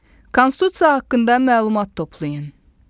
Konstitusiya haqqında məlumat toplayın.